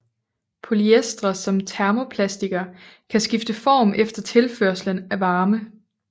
Polyestre som termoplastikker kan skifte form efter tilførslen af varme